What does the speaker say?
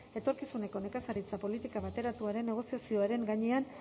etorkizuneko nekazaritza politika bateratuaren negoziazioaren gainean